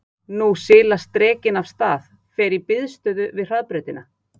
Og nú silast drekinn af stað, fer í biðstöðu við hraðbrautina.